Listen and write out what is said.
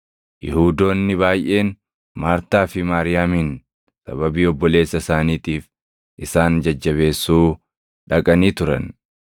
Yihuudoonni baayʼeen Maartaa fi Maariyaamin sababii obboleessa isaaniitiif isaan jajjabeessuu dhaqanii turan.